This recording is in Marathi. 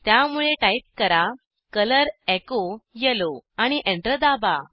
त्यामुळे टाईप करा कलर एचो येलो आणि एंटर दाबा